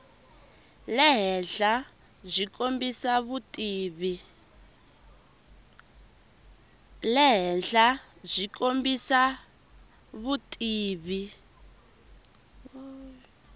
le henhla byi kombisa vutivi